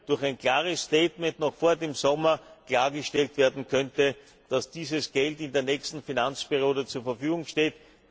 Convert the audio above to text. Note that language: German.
durch ein klares Statement noch vor dem Sommer klargestellt werden könnte, dass dieses Geld in der nächsten Finanzperiode zur Verfügung steht.